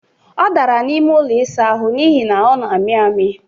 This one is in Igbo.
Ọ dara n'ime ụlọ ịsa ahụ n'ihi na ọ na-amị amị